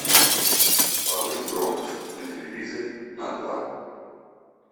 повысь громкость на телевизоре на два